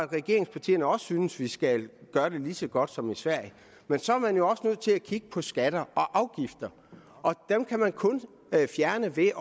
regeringspartierne også synes vi skal gøre det lige så godt som i sverige men så er man jo også nødt til at kigge på skatter og afgifter og dem kan man kun fjerne ved